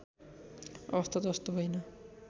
अवस्था जस्तो होइन